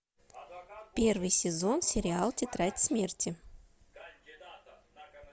первый сезон сериал тетрадь смерти